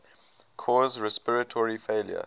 cause respiratory failure